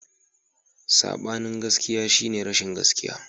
Sabanin gaskiya shine rashin gaskiya.